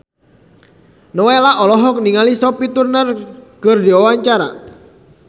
Nowela olohok ningali Sophie Turner keur diwawancara